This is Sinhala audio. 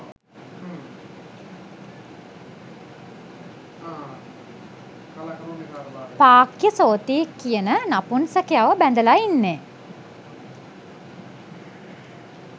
පාක්‍යසෝති කියන නපුන්සකයව බැඳලා ඉන්නේ